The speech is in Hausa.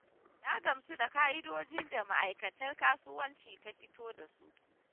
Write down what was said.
Na gamsu da ƙa'idojin da Ma'akaitar Kasuwanci ta fito da su.